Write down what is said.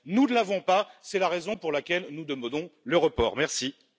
Nous ne l'avons pas, et c'est la raison pour laquelle nous demandons le report du vote.